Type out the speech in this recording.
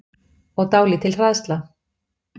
Og dálítil hræðsla.